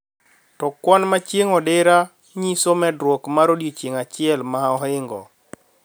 To kwan ma chieng` odira nyiso medruok mar odiechieng` achiel ma ohingo